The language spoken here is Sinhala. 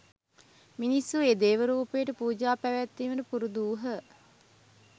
මිනිස්සු ඒ දේවරූපයට පූජා පැවැත්වීමට පුරුදු වූහ.